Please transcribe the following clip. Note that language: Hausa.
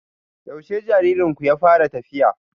Yaushe jaririnku ya fara tafiya?